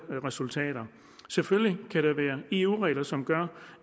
resultater selvfølgelig kan der være eu regler som gør